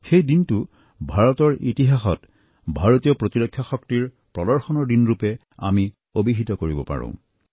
সেই দিনটো ভাৰতৰ ইতিহাসত ভাৰতীয় প্ৰতিৰক্ষা শক্তিৰ প্ৰদৰ্শনৰ দিনৰূপে আমি অভিহিত কৰিব পাৰোঁ